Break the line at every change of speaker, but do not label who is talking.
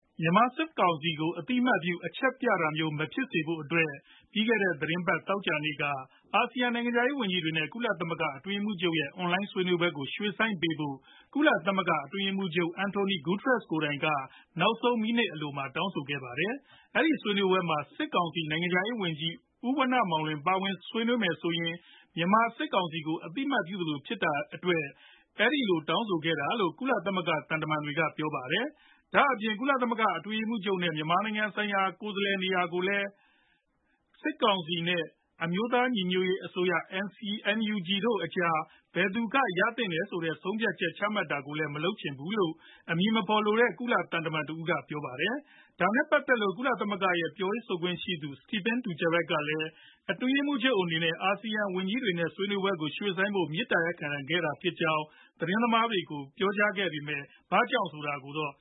မြန်မာစစ်ကောင်စီကို အသိအမှတ်ပြု အချက်ပြတာမျိုးမဖြစ်စေဖို့အတွက် ပြီးခဲ့တဲ့ သောကြာနေ့က အာဆီယံနိုင်ငံခြားရေးဝန်ကြီးတွေနဲ့ ကုလသမဂ္ဂအတွင်းရေးမှူးချုပ်ရဲ့ အွန်လိုင်းဆွေးနွေးပွဲကို ရွှေ့ဆိုင်းပေးဖို့ ကုလသမဂ္ဂ အထွေထွေအတွင်းရေးမှူးချုပ် António Guterres ကိုယ်တိုင်က နောက်ဆုံးမိနစ်အလိုမှာ တောင်းဆိုခဲ့ပါတယ်။ အဲဒီဆွေးနွေးပွဲမှာ စစ်ကောင်စီနိုင်ငံခြားရေးဝန်ကြီး ဦးဝဏ္ဏမောင်လွင် ပါဝင်ဆွေးနွေးမယ်ဆိုရင် မြန်မာစစ်ကောင်စီကို အသိအမှတ်ပြုသလိုဖြစ်တဲ့အတွက် အဲဒီလို တောင်းဆိုခဲ့တာလို့ ကုလသမဂ္ဂ သံတမန်တွေက ပြောပါတယ်။ ဒါအပြင် ကုလအတွင်းရေးမှူးချုပ်အနေနဲ့ ကုလသမဂ္ဂဆိုင်ရာ မြန်မာကိုယ်စားလှယ်နေရာကိုလည်း စစ်ကောင်စီ နဲ့ အမျိုးသားညီညွတ်ရေးအစိုးရ NUG တို့အကြား ဘယ်သူက ရသင့်တယ်ဆိုတဲ့ ဆုံးဖြတ်ချက်ကို ချမှတ်တာလည်း မလုပ်ချင်ဘူးလို့ အမည်မဖော်လိုတဲ့ ကုလ သံတမန်တဦးက ပြောပါတယ်။ ဒါနဲ့ပတ်သက်လို့ ကုလသမဂ္ဂရဲ့ပြောရေးဆိုခွင့်ရှိသူ Stephane Dujarric ကလည်း အတွင်းရေးမှူးချုပ်အနေနဲ့ အာဆီယံဝန်ကြီးတွေနဲ့ ဆွေးနွေးပွဲကို ရွှေ့ဆိုင်းဖို့ မေတ္တာရပ်ခံခဲ့တာဖြစ်ကြောင်း သတင်းသမားတွေကို ပြောဆိုခဲ့ပေမယ့် ဘာကြောင့်ဆိုတာကိုတော့